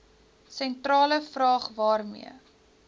sentrale vraag waarmee